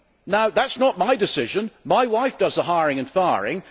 Now, that is not my decision my wife does the hiring and firing.